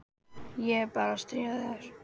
Ég er bara að stríða þér.